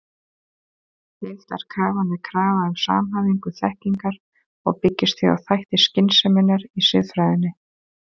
Heildarkrafan er krafa um samhæfingu þekkingar og byggist því á þætti skynseminnar í siðfræðinni.